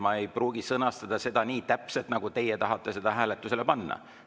Muidu ma ei pruugi sõnastada seda täpselt nii, nagu teie tahate seda hääletusele panna.